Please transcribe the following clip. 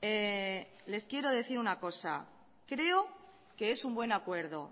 les quiero decir una cosa creo que es un buen acuerdo